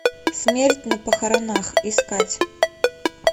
смерть на похоронах искать